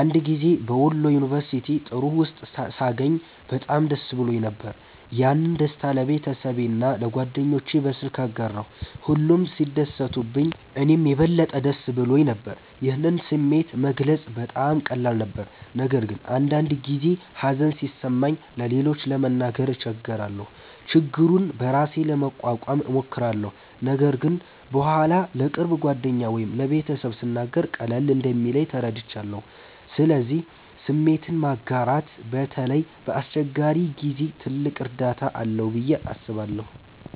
አንድ ጊዜ በወሎ ዩንቨርስቲ ጥሩ ውጤት ሳገኝ በጣም ደስ ብሎኝ ነበር። ያንን ደስታ ለቤተሰቤና ለጓደኞቼ በስልክ አጋራሁ፣ ሁሉም ሲደሰቱልኝ እኔም የበለጠ ደስ ብሎኝ ነበር። ይህን ስሜት መግለጽ በጣም ቀላል ነበር። ነገር ግን አንዳንድ ጊዜ ሀዘን ሲሰማኝ ለሌሎች ለመናገር እቸገራለሁ። ችግሩን በራሴ ለመቋቋም እሞክራለሁ፣ ነገር ግን በኋላ ለቅርብ ጓደኛ ወይም ለቤተሰብ ስናገር ቀለል እንደሚለኝ ተረድቻለሁ። ስለዚህ ስሜትን ማጋራት በተለይ በአስቸጋሪ ጊዜ ትልቅ እርዳታ አለው ብዬ አስባለሁ።